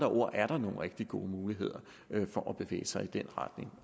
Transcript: ord er der nogle rigtig gode muligheder for at bevæge sig i den retning